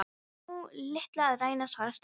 Það er nú litlu að ræna- svaraði Stella.